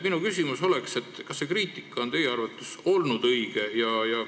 Kas see kriitika on teie arvates olnud õige?